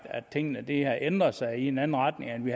at tingene har ændret sig i en anden retning end